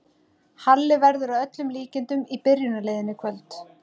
Halli verður að öllum líkindum í byrjunarliðinu í kvöld.